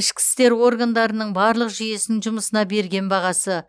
ішкі істер органдарының барлық жүйесінің жұмысына берген бағасы